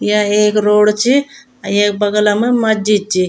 या एक रोड च अ येक बगला मा मस्जिद च।